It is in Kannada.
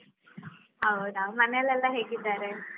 ಹೌದಾ, ಮನೆಯಲ್ಲೆಲ್ಲಾ ಹೇಗಿದ್ದಾರೆ?